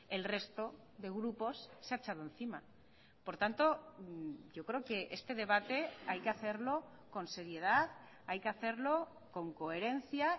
el resto de grupos se ha echado encima por tanto yo creo que este debate hay que hacerlo con seriedad hay que hacerlo con coherencia